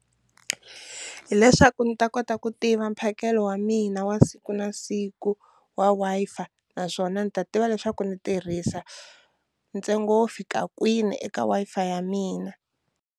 Hi leswaku ni ta kota ku tiva mphakelo wa mina wa siku na siku wa Wi-Fi naswona ni ta tiva leswaku ndzi tirhisa ntsengo wo fika kwini eka Wi-Fi ya mina.